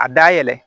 A da yɛlɛ